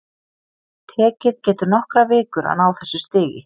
Tekið getur nokkrar vikur að ná þessu stigi.